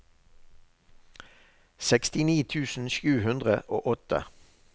sekstini tusen sju hundre og åtte